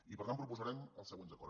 i per tant proposarem els següents acords